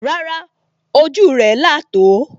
Rárá, ojú rẹ̀ là tò ó